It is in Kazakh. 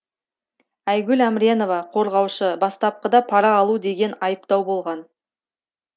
айгүл әмренова қорғаушы бастапқыда пара алу деген айыптау болған